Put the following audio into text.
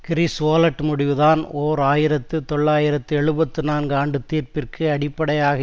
கிரிஸ்வோலட் முடிவுதான் ஓர் ஆயிரத்தி தொள்ளாயிரத்து எழுபத்து நான்கு ஆண்டு தீர்ப்பிற்கு அடிப்படையாக